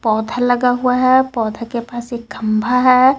पौधा लगा हुआ है पौधा के पास एक खंभा है.